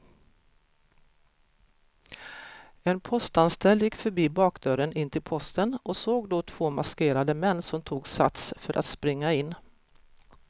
En postanställd gick förbi bakdörren in till posten och såg då två maskerade män som tog sats för att springa in.